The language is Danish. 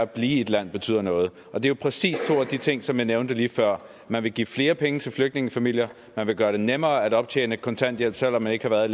at blive i et land betyder noget og det er jo præcis to af de ting som jeg nævnte lige før man vil give flere penge til flygtningefamilier man vil gøre det nemmere at optjene kontanthjælp selv om man ikke har været